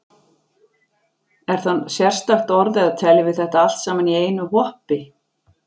Er það sérstakt orð eða teljum við þetta allt saman í einu hoppi?